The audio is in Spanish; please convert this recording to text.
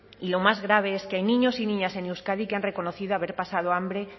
y lo más grave es que hay niños y niñas en euskadi que han reconocido haber pasado hambre